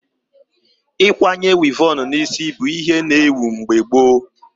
Ịkwanye wivon na isi bụ ihe na ewu mgbe gboo